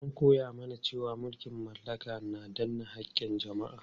An koya mana cewa mulkin mallaka na danne haƙƙin jama'a.